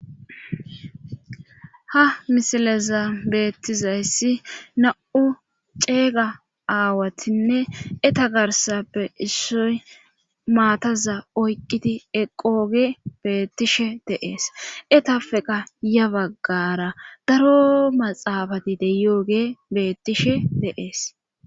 ha misileza beettizayssi na7u ceega aawatinne eta garsappe issoy maataza oyqiti eqooge beettishe deees etappeqa ya baggara daro maxaafati deyooge beettishe deees